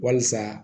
Walisa